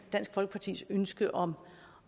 dansk folkepartis ønske om